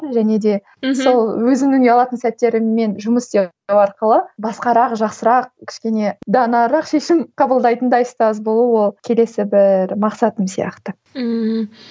және де мхм сол өзімнің ұялатын сәттеріммен жұмыс істеу арқылы басқарақ жақсырақ кішкене данарақ шешім қабылдайтындай ұстаз болу ол келесі бір мақсатым сияқты ммм